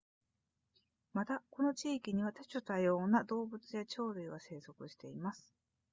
またこの地域には多種多様な動物や鳥類が生息しています